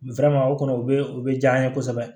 o kɔni o bɛ o bɛ diya an ye kosɛbɛ